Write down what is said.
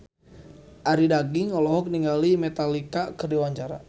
Arie Daginks olohok ningali Metallica keur diwawancara